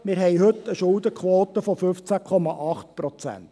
Wir haben heute eine Schuldenquote von 15,8 Prozent.